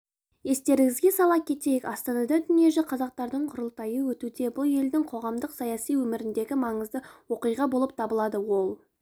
естеріңізге сала кетейік астанада дүниежүзі қазақтардың құрылтайы өтуде бұл елдің қоғамдық-саяси өміріндегі маңызды оқиға болып табылады ол